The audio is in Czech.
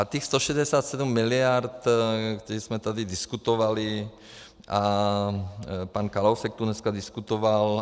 A těch 167 miliard, které jsme tady diskutovali a pan Kalousek tu dneska diskutoval.